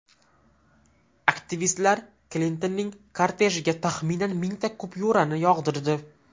Aktivistlar Klintonning kortejiga taxminan mingta kupyurani yog‘dirdi.